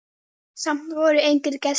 Samt voru engir gestir.